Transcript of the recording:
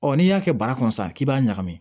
Ɔ n'i y'a kɛ baara kɔnɔ sisan k'i b'a ɲagami